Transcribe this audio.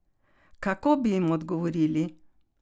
Kako bi jim odgovorili?